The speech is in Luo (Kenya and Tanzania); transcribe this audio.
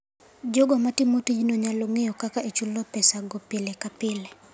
Jogo matimo tijno nyalo ng'eyo kaka ichulo pesago pile ka pile.